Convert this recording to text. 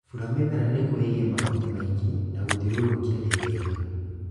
Bura mĩmera nĩguo ĩgĩe mahuti maingĩ na gũthiũrũrũkia riwega